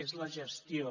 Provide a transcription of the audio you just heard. és la gestió